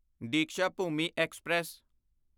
Deekshabhoomi express